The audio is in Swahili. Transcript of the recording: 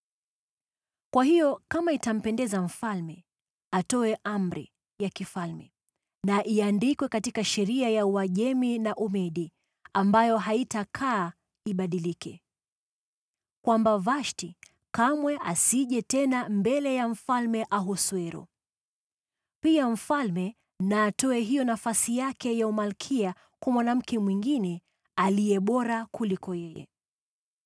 “Kwa hiyo, kama itampendeza mfalme, atoe amri ya kifalme na iandikwe katika sheria ya Uajemi na Umedi, ambayo haitabadilika, kwamba Vashti kamwe asije tena mbele ya Mfalme Ahasuero. Pia mfalme na atoe hiyo nafasi yake ya umalkia kwa mwanamke mwingine aliye bora kumliko yeye.